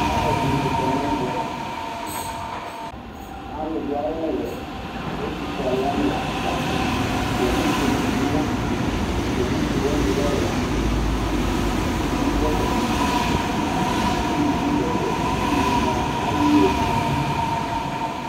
alɛdini kɔ nɛvɛ alʊ dʊ awʊwɛ etufue alʊwanɩ la natanɩ Owufue dibi ya owufuewani lɛ ɛla Itsudini du atamidu udunudibi du ɛfɛ ku udunuemua ayui ofoe